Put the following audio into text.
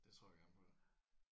Det tror jeg gerne på da